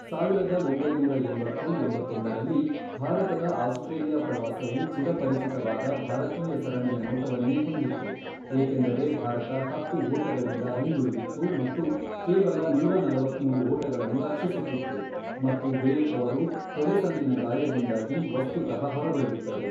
ಸಾವಿರದ ಒಂಬೈನೂರ ಎಂಬತ್ತು, ಎಂಬತ್ತೊಂದರಲ್ಲಿ, ಭಾರತದ ಆಸ್ಟ್ರೇಲಿಯಾ ಪ್ರವಾಸವು ಚಿರಪರಿಚಿತವಾದ ಭಾರತೀಯ ಸರಣಿಯ ನೋಟವನ್ನೇ ಹೊಂದಿತ್ತು, ಏಕೆಂದರೆ ಭಾರತ ಹತ್ತು ಓಟಗಳಿಂದ ಹಿಂದುಳಿದಿತ್ತು ಮತ್ತು ಕೇವಲ ನೂರಾ ನಲವತ್ಮೂರು ಓಟಗಳನ್ನು ರಕ್ಷಿಸುತ್ತಿತ್ತು ಮತ್ತು ದೇವ್ ಅವರು ತೊಡೆಸಂದಿನ ಗಾಯದಿಂದಾಗಿ ವಸ್ತುತಃ ಹೊರಗುಳಿದಿದ್ದರು.